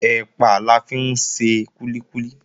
Ẹ̀pà la fi ń ṣe kúlíkúlí